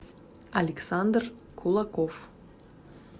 александр кулаков